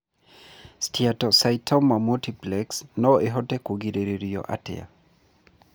Steatocystoma multiplex no ihote kũrigĩrĩrio atĩa?